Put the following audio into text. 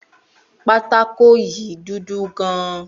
Pátákó yìí dúdú gan